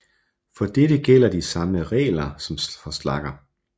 For dette gælder de samme regler som for slagger